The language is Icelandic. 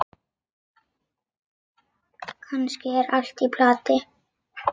Kannski er allt í plati.